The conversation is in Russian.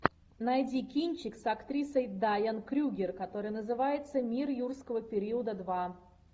найди кинчик с актрисой дайан крюгер который называется мир юрского периода два